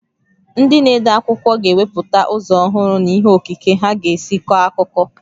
Ndị na-ede akwụkwọ ga-ewepụta ụzọ ọhụrụ na ihe okike ha ga-esi kọọ akụkọ.